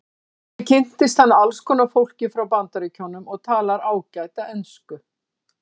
Þannig kynntist hann alls konar fólki frá Bandaríkjunum og talar ágæta ensku.